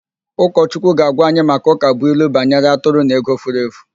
Ụkọchukwu ga-agwa anyị maka ụkabụilu banyere atụrụ na ego furu efu.